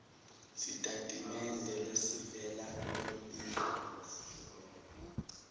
sitatimende lesivela kulombiko